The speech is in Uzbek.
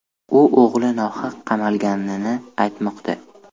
U o‘g‘li nohaq qamalganini aytmoqda.